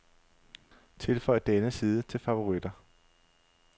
Tilføj denne side til favoritter.